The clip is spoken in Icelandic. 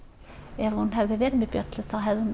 ef hún hefði verið með bjöllu þá hefði